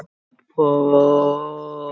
Svo bara. kýldi ég á það.